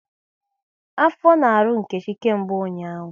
Afọ na-arụ Nkechi kemgbe ụnyaahụ